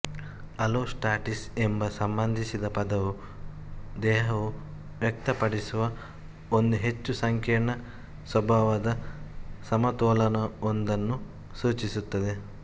allostasis ಎಂಬ ಸಂಬಂಧಿಸಿದ ಪದವು ದೇಹವು ವ್ಯಕ್ತಪಡಿಸುವ ಒಂದು ಹೆಚ್ಚು ಸಂಕೀರ್ಣ ಸ್ವಭಾವದ ಸಮತೋಲನವೊಂದನ್ನು ಸೂಚಿಸುತ್ತದೆ